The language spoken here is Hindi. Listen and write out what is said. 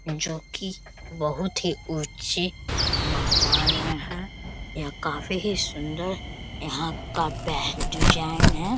जो की बहुत ही ऊंचे मकान में है यह काफी ही सुंदर यहां का पह डिजाइन है।